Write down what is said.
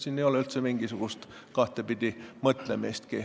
Siin ei ole üldse mingisugust kahtepidi mõtlemist.